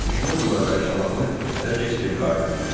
Düşmən qüvvələri Şamaxını hələ keçirib qarət etdilər.